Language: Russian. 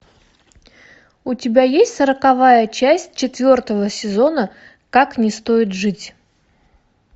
у тебя есть сороковая часть четвертого сезона как не стоит жить